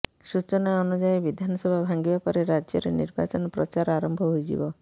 ସୂଚନା ଅନୁଯାୟୀ ବିଧାନସଭା ଭାଙ୍ଗିବା ପରେ ରାଜ୍ୟରେ ନିର୍ବାଚନ ପ୍ରଚାର ଆରମ୍ଭ ହୋଇଯିବ